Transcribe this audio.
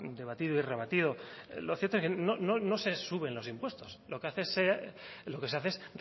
debatido y rebatido lo cierto es que no se suben los impuestos lo que se hace es